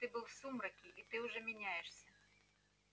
ты был в сумраке и ты уже меняешься